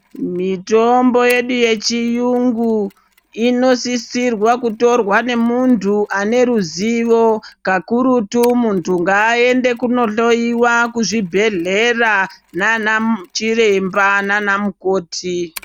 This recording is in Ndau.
Mitombo yedu yechiyungu inosisirwa kutorwa nemuntu ane ruzivo kakurutu muntu ngaende kuno hloyiwa kuzvibhedhlera nana chiremba nanamukoti.